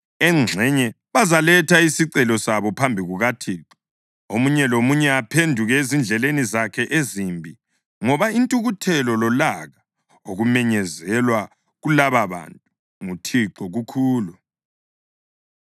Engxenye bazaletha isicelo sabo phambi kukaThixo, omunye lomunye aphenduke ezindleleni zakhe ezimbi, ngoba intukuthelo lolaka okumenyezelwe kulababantu nguThixo kukhulu.”